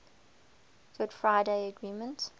good friday agreement